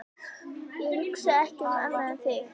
Ég hugsa ekki um annað en þig.